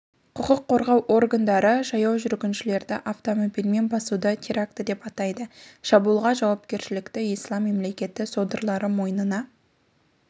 құқық қорғау органдары жаяу жүргіншілерді автомобильмен басуды теракті деп атады шабуылға жауапкершілікті ислам мемлекеті содырлары мойнына